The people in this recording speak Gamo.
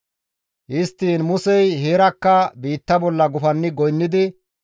Histtiin Musey heerakka biitta bolla gufanni goynnidi,